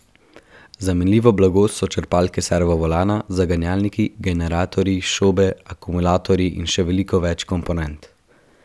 Zamenljivo blago so črpalke servovolana, zaganjalniki, generatorji, šobe, akumulatorji in še veliko več komponent.